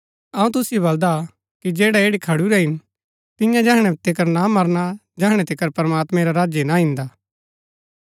अऊँ तुसिओ बलदा कि जैड़ै ऐठी खडुरै हिन तियां तैहणै तिकर ना मरणा जेहणा तिकर प्रमात्मैं रा राज्य ना ईन्दा